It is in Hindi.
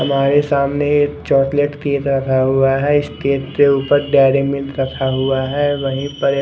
हमारे सामने एक चॉकलेट केक रखा हुआ है इस केक के ऊपर डेरी मिल्क रखा हुआ है वही पर एक--